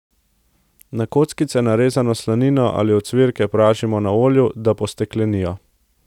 Na kockice narezano slanino ali ocvirke pražimo na olju, da posteklenijo.